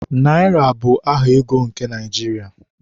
Naịra bụ aha ego nke Naịjirịa